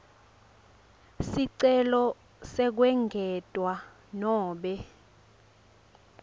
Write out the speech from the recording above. sicelo sekwengetwa nobe